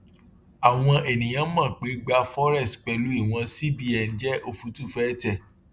àwọn ènìyàn mọ pé gba forex pẹlú ìwọn cbn jẹ òfútùfẹtẹ